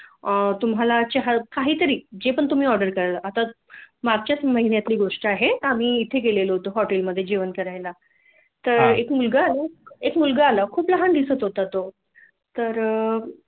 तुम्हाला चहा काहीतरी जे पण तुम्ही आँर्डर कराल आता मागच्या महिन्यातली गोष्ट आहे आम्ही इथे गेलो होतो हॉटेलमधे जेवण करायला हा तर एक मुलगा आला खूप लहान दिसत होता तो तर